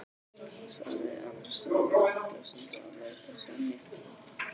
sagði annar strákurinn flissandi og leit á Sonju.